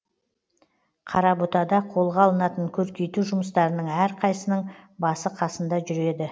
қарабұтада қолға алынатын көркейту жұмыстарының әрқайсының басы қасында жүреді